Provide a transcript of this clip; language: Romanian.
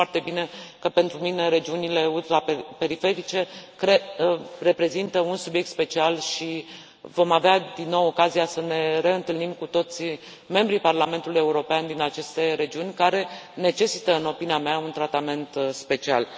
Știți foarte bine că pentru mine regiunile ultraperiferice reprezintă un subiect special și vom avea din nou ocazia să ne reîntâlnim cu toții, membrii Parlamentului European din aceste regiuni care necesită, în opinia mea, un tratament special.